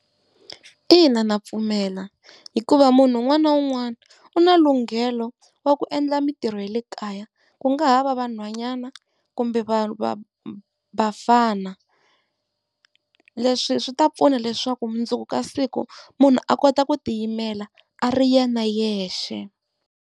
Ina, ndza pfumela hikuva munhu un'wana na un'wana u na lunghelo wa ku endla mitirho ya le kaya, ku nga ha va vanhwanyana kumbe va va vafana. Leswi swi ta pfuna leswaku mundzuku ka siku munhu a kota ku tiyimela a ri yena yexe.